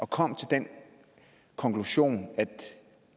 kom til den konklusion at den